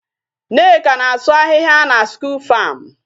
Nneka na-asụ ahịhịa na school farm.